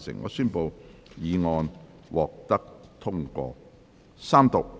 我宣布議案獲得通過。